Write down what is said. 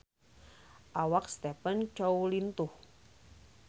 Awak Stephen Chow lintuh